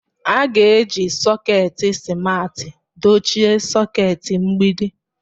A ga-eji sọketi simarti dochie soketi mgbidi.